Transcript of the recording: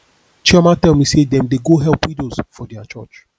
chioma tell me say dem dey go help widows for their church